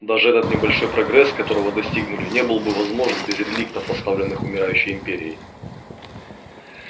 даже тот небольшой прогресс которого достигли не был бы возможен без реликтов оставленных умирающей империей